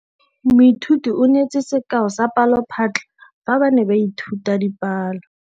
Moithuti o neetse sekaô sa palophatlo fa ba ne ba ithuta dipalo.